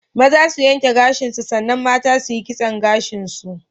Maza su yanke gashin su san nan mata su yi kisson gashin su.